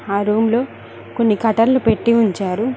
ఆ రూమ్ లో కొన్ని కటర్లు పెట్టి ఉంచారు.